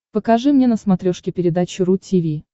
покажи мне на смотрешке передачу ру ти ви